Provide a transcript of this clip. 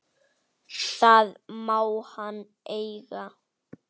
Það má hann eiga.